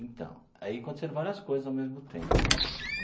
Então, aí aconteceram várias coisas ao mesmo tempo.